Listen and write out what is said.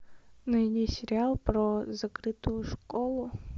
найди сериал про закрытую школу